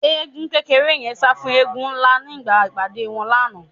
Eégún kékeré yẹn sá fún eégún ńlá nígbà ìpàdé wọn lánàá